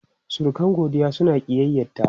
Surukan Godiya suna ƙiyyayta.